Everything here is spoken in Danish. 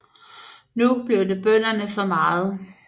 Nu blev det bønderne for meget